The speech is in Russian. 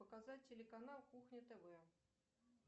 показать телеканал кухня тв